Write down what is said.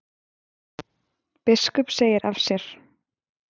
Biskup segir af sér